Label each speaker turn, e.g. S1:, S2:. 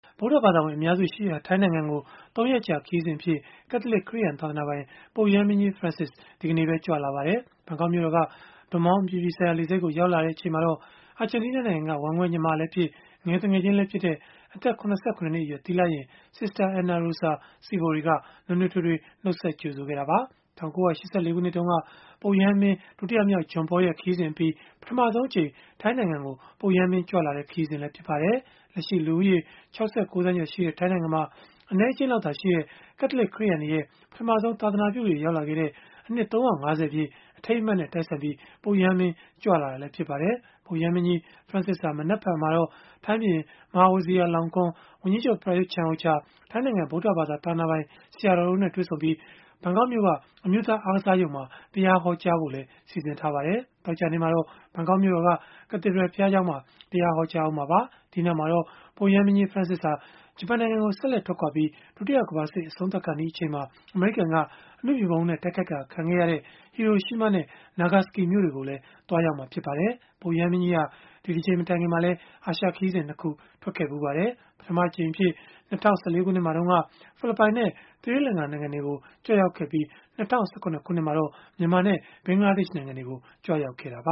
S1: ဗုဒ္ဓဘာသာဝင် အများစုရှိရာ ထိုင်းနိုင်ငံကို ၃ ရက်ကြာ ခရီးစဉ်အဖြစ် ကက်လသစ်ခရစ်ယာန် သာသနာပိုင် ပုပ်ရဟန်းမင်းကြီး Francis ဒီကနေ့ပဲ ရောက်ရှိလာပါတယ်။ ဘန်ကောက်မြို့တော်က ဒွန်မောင်း အပြည်ပြည်ဆိုင်ရာ လေဆိပ်ကို ရောက်လာချိန်မှာတော့ အာဂျင်တီးနား နိုင်ငံက ဝမ်းကွဲညီမလည်းဖြစ်၊ ငယ်သူငယ်ချင်းလည်းဖြစ်တဲ့ အသက် ၇၇ နှစ်အရွယ် သီလရှင် Sister Ana Rosa Sivori က နွေးနွေးထွေးထွေး နှုတ်ဆက်ကြိုဆိုခဲ့တာပါ။ ၁၉၈၄ ခုနှစ်တုန်းက ပုပ်ရဟန်းမင်း ဒုတိယမြောက် John Paul ရဲ့ ခရီးစဉ်အပြီး ပထမဆုံးအကြိမ် ထိုင်းနိုင်ငံကို ပုပ်ရဟန်းမင်း ကြွလာတဲ့ ခရီးစဉ်လည်း ဖြစ်ပါတယ်။ လက်ရှိလူဦးရေ ၆၉ သန်းကျော်ရှိတဲ့ ထိုင်းနိုင်ငံမှာ အနည်းအကျဉ်းသာရှိတဲ့ ကက်လသလစ် ခရစ်ယာန်တွေရဲ့ ပထမဆုံး သာသာနာပြုတွေ ရောက်လာခဲ့တဲ့ အနှစ် ၃၅၀ ပြည့် အထိမ်းအမှတ်နဲ့ တိုက်ဆိုင်ပြီး ပုပ်ရဟန်းမင်း ကြွလာတာလည်း ဖြစ်ပါတယ်။ ပုပ်ရဟန်းမင်းကြီး Francis ဟာ မနက်ဖြန်မှာတော့ ထိုင်းဘုရင် မဟာဝဇီရာလောင်ကွန်း၊ ဝန်ကြီးချုပ် ပရာရွတ်ချန်အိုချာ၊ ထိုင်းနိုင်ငံဗုဒ္ဓဘာသာ သာသနာပိုင်ဆရာတော်တို့နဲ့ တွေ့ဆုံပြီး၊ ဘန်ကောက်မြို့က အမျိုးသား အားကစားရုံမှာ တရားဟောကြားဖို့လည်း စီစဉ်ထားပါတယ်။ သောကြာနေ့မှာတော့ ဘန်ကောက်မြို့တော်က Cathedral ဘုရားကျောင်းမှာ တရားဟောကြားမှာပါ။ ဒီနောက်မှာတော့ ပုပ်ရဟန်းမင်းကြီး Francis ဟာ ဂျပန်နိုင်ငံကို ဆက်လက်ထွက်ခွာပြီး၊ ဒုတိယကမ္ဘာစစ် အဆုံးသတ်ကာနီး အချိန်မှာပဲ အမေရိကန်က အနုမြူဗုံးနဲ့ တိုက်ခိုက်တာ ခံခဲ့ရတဲ့ ဟီရိုရှီးမားနဲ့ နာဂါစကီ မြို့တွေကို သွားရောက်မှာ ဖြစ်ပါတယ်။ ပုပ်ရဟန်းမင်းကြီးဟာ ဒီတကြိမ်မတိုင်ခင်မှာလည်း အာရှခရီးစဉ် ၂ ခု ထွက်ခဲ့ဖူးပါတယ်။ ပထမအကြိမ်အဖြစ် ၂၀၁၄ ခုနှစ်မှာတုန်းက ဖိလစ်ပိုင်နဲ့ သီရိလင်္ကာနိုင်ငံတွေကို ကြွရောက်ခဲ့ပြီး၊ ၂၀၁၇ ခုနှစ်မှာတော့ မြန်မာနဲ့ ဘင်္ဂလားဒေ့ရှ်နိုင်ငံတွေကို ကြွရောက်ခဲ့တာပ